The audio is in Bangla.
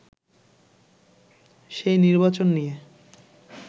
সেই নির্বাচন নিয়ে